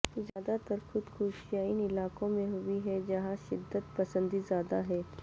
زیادہ تر خود کشیاں ان علاقوں میں ہوئی ہیں جہاں شدت پسندی زیادہ ہے